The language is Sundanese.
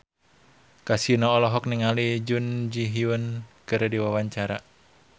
Kasino olohok ningali Jun Ji Hyun keur diwawancara